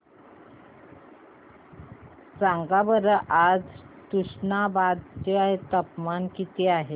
सांगा बरं आज तुष्णाबाद चे तापमान किती आहे